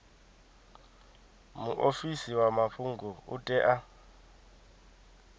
muofisi wa mafhungo u tea